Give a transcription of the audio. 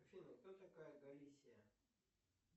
афина кто такая галисия